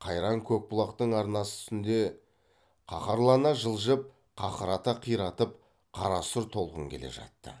қайран көкбұлақтың арнасы үстінде қаһарлана жылжып қақырата қиратып қарасұр толқын келе жатты